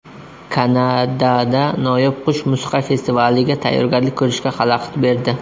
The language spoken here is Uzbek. Kanadada noyob qush musiqa festivaliga tayyorgarlik ko‘rishga xalaqit berdi .